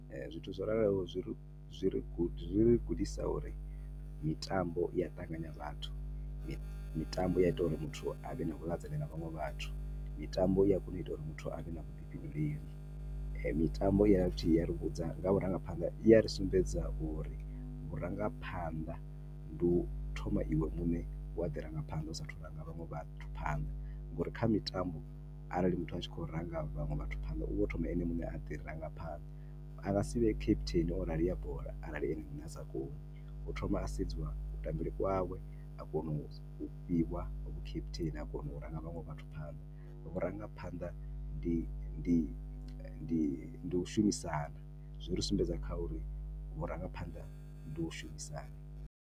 Zwithu zwo raloho, zwi ri, zwi ri, zwi ri gudisa uri mitambo i ya ṱanganya vhathu. Mitambo i ya ita uri muthu a vhe na vhuḽedzani na vhaṅwe vhathu. Mitambo i ya kona u ita uri muthu a vhe na vhuḓifhinduleli. I dovha futhi ya ri vhudza nga vhurangapha, i dovha futhi ya ri sumbedza uri vhurangaphanḓa ndi u thoma iwe muṋe wa ḓi rangaphanda u saathu u ranga vhaṅwe vhathu phanḓa. Ngauri kha mitambo arali muthu a tshi khou ranga vhaṅwe vhathu phanḓa u vha o thoma ene muṋe a ḓi rangaphanḓa. A nga si vhe captain o rali ya bola arali ene muṋe a sa koni. Hu thoma ha sedziwa kutambele kwawe a kona u fhiwa vhu captain, a kona ranga vhaṅwe vhathu phanḓa, vhurangaphanḓa ndi ndi u shumisana, zwi ri sumbedza kha uri vhurangaphanḓa ndi u shumisana.